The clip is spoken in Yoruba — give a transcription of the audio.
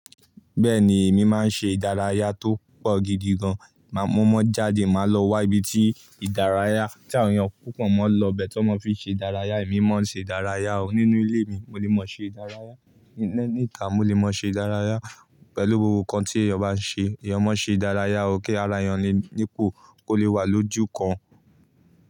Bẹ́ẹ̀ni, èmi máa ń ṣe ìdárayá tó pọ̀ gidi gan. Máa mọ́ má jáde, màá lọ wá ibi tí ìdárayá tí àwọn èèyàn púpọ̀ máa ń lọ bẹ́ẹ̀ tó máa fi ṣe ìdárayá. Èmi má ṣe ìdárayá o. Nínú ilé mi, mo lè máa ṣe ìdárayá. Níta, mo lè máa ṣe ìdárayá. Pẹ̀lú gbogbo nǹkan tí èèyàn bá ṣe, èèyàn máa ṣe ìdárayá o kí ara èèyàn ni-nípò kó lè wà lójú kan.